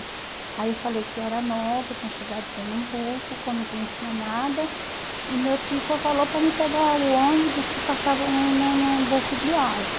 Aí eu falei que eu era nova, tinha chegado de Pernambuco, que eu não conhecia nada, e meu tio só falou para me pegar o ônibus que passava no no no Bom